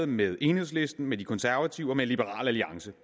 med enhedslisten med de konservative og med liberal alliance